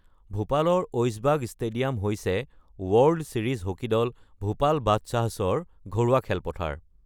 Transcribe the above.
ভূপালৰ Aishbagh stadium হৈছে world series hockey দল ভূপাল বাদশ্বাহ্ছৰ ঘৰুৱা খেলপথাৰ।